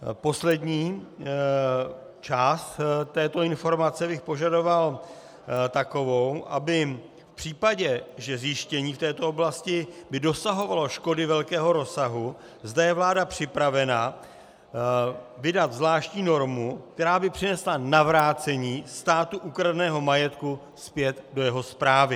Poslední část této informace bych požadoval takovou, aby v případě, že zjištění v této oblasti by dosahovalo škody velkého rozsahu, zda je vláda připravena vydat zvláštní normu, která by přinesla navrácení státu ukradeného majetku zpět do jeho správy.